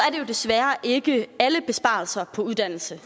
jo desværre ikke alle besparelser på uddannelse